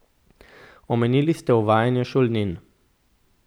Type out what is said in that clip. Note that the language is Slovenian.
Omenili ste uvajanje šolnin.